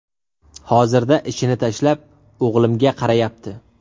Hozirda ishini tashlab, o‘g‘limga qarayapti.